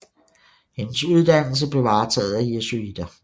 Hendes uddannelse blev varetaget af jesuiter